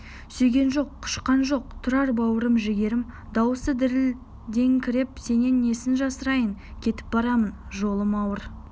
сүйген жоқ құшқан жоқ тұрар бауырым жігерім дауысы дірілдеңкіреп сенен несін жасырайын кетіп барамын жолым ауыр